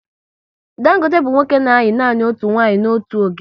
Dangote bụ nwoke na ayi nanị otu nwanyị n'otu oge